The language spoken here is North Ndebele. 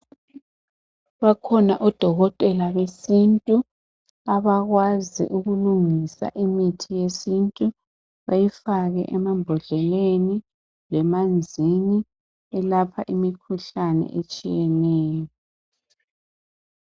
Bakhona odokotela besintu abakwazi ukulungisa imithi yesintu beyifake emambhodleleni lemanzini elapha imikhuhlane etshiyeneyo.